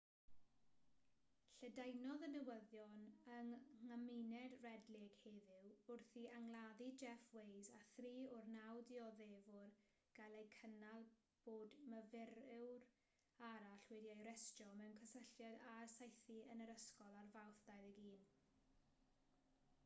lledaenodd y newyddion yng nghymuned red lake heddiw wrth i angladdau jeff waise a thri o'r naw dioddefwr gael eu cynnal bod myfyriwr arall wedi'i arestio mewn cysylltiad â'r saethu yn yr ysgol ar fawrth 21